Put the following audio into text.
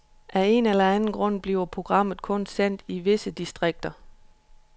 Af en eller anden grund bliver programmet kun sendt i visse distrikter.